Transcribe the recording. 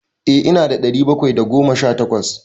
Eh ina da ɗari bakwai da goma sha takwas.